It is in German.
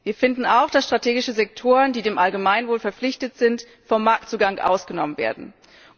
Wir finden auch, dass strategische Sektoren, die dem Allgemeinwohl verpflichtet sind, vom Marktzugang ausgenommen werden können.